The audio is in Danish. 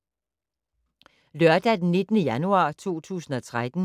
Lørdag d. 19. januar 2013